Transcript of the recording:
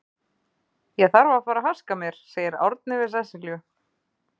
Ég þarf að fara að haska mér, segir Árni við Sesselju.